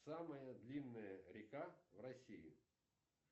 самая длинная река в россии